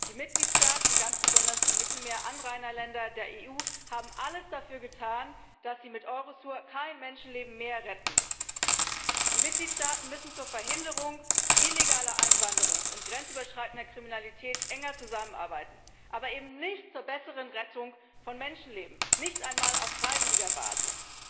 Die Mitgliedstaaten und ganz besonders die Mittelmeeranrainerländer der EU haben alles dafür getan, dass sie mit Eurosur kein Menschenleben mehr retten müssen. Die Mitgliedstaaten müssen zur Verhinderung illegaler Einwanderung und grenzüberschreitender Kriminalität enger zusammenarbeiten, aber eben nicht zur besseren Rettung von Menschenleben nicht einmal auf freiwilliger Basis!